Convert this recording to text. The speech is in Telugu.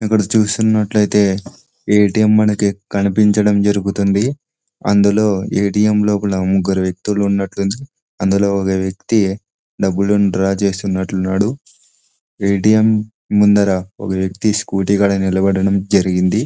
ఇక్కడ చూసినట్లయితే ఏ_టి_ఎం మనకి కనిపించడం జరుగుతుంది. అందులో ఏ_టి_ఎం లోపల ముగ్గురు వ్యక్తులు ఉన్నటున్నారు. అందులో ఒక వ్యక్తి డబ్బులను డ్రా చేస్తున్నటున్నాడు. ఏ_టి_ఎం ముందర ఒక వ్యక్తి స్కూటీ కాడ నిలబడడం జరిగింది.